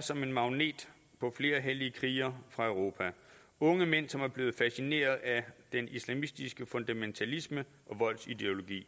som en magnet på flere hellige krigere fra europa unge mænd som er blevet fascineret af den islamistiske fundamentalisme og voldsideologi